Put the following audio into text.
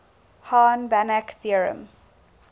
hahn banach theorem